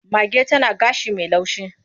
Mage tana gashi mai laushi.